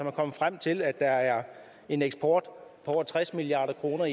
er kommet frem til at der er en eksport af over tres milliard kroner